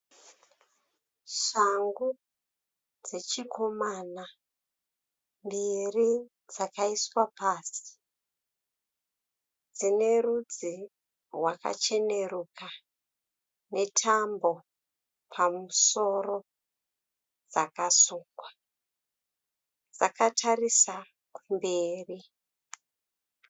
Shangu dzechikomana mbiri dzakaiswa pasi. Dzinerudzi rwakacheneruka netambo pamusoro dzakasungwa. Dzakatarisa kumberi.